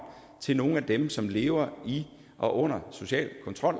til nogle af dem som lever i og under social kontrol